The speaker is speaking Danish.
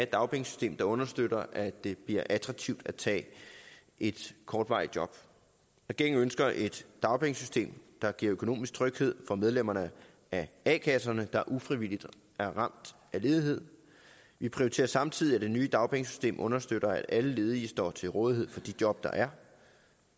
dagpengesystem der understøtter at det bliver attraktivt at tage et kortvarigt job regeringen ønsker et dagpengesystem der giver økonomisk tryghed for medlemmerne af a kasserne der ufrivilligt er ramt af ledighed vi prioriterer samtidig at det nye dagpengesystem understøtter at alle ledige står til rådighed for de job der er